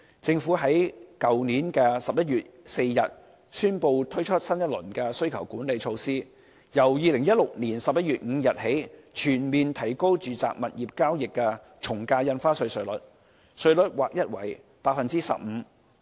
政府在去年11月4日宣布推出新一輪需求管理措施，由2016年11月5日起全面提高住宅物業交易的從價印花稅稅率，稅率劃一為 15%。